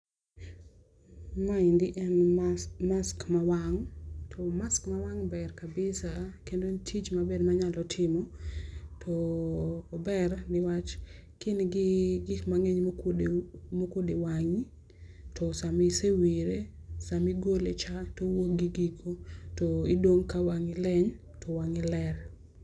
Maendi en mask ma wang' to mask ma wang' ber kabisa kendo en tich maber ma nyalo timo to ober ni wach ka in gi gik mang'eny ma okuodo wang'i to sama isewire, sama igolo cha to owuok gi gigo to idong' ka wang'i leny to wangi ler.